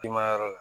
I ma yɔrɔ la